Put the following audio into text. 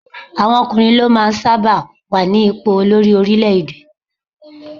Àwọn ọkùnrin ló máa ń sábà wà ní ipò olórí orílé-èdè